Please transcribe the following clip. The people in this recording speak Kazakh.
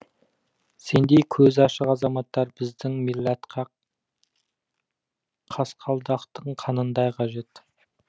сендей көзі ашық азаматтар біздің милләтқа қасқалдақтың қанындай қажет